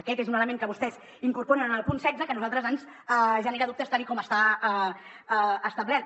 aquest és un element que vostès incorporen en el punt setze que a nosaltres ens genera dubtes tal com està establert